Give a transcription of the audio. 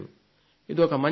ఇదొక మంచి మార్పు